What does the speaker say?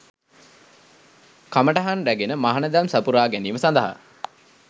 කමටහන් රැගෙන මහණදම් සපුරා ගැනීම සඳහා